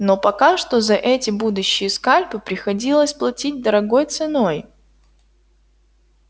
но пока что за эти будущие скальпы приходилось платить дорогой ценой